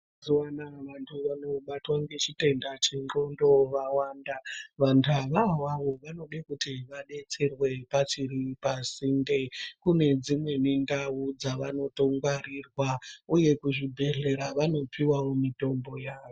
Mazuva anaya vantu vanobatwa ngechitenda chendxondo vawanda. Vantuvo ivavo vanode kuti vadetserwe pachiri pasinde. Kune dzimweni ndau dzavanotongwaeirwa uye kuzvibhedhlera vanopiwawo mitombo yavo.